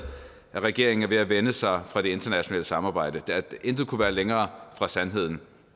at regeringen er ved at vende sig fra det internationale samarbejde intet kunne være længere fra sandheden